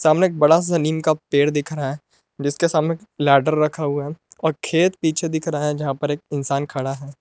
हमने एक बड़ा सा नीम का पेड़ दिख रहा है जिसके सामने लैडर रखा हुआ है और खेत पीछे दिख रहा है जहां पर एक इंसान खड़ा है।